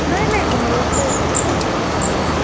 নাই নাই । ঘৰতে আৰু, মা য়ে পুজা কৰিব ।